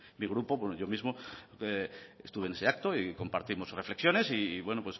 mi grupo yo mismo estuve en ese acto y compartimos reflexiones y